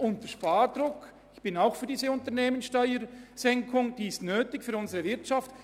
» Die Senkung der Unternehmungssteuer ist nötig für unsere Wirtschaft.